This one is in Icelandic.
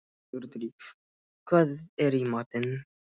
Sigurdríf, hvað er í matinn?